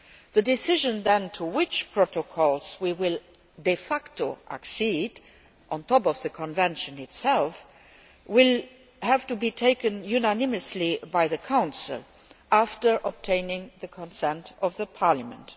The decision then to which protocols we will de facto accede, on top of the convention itself, will have to be taken unanimously by the Council after obtaining the consent of Parliament.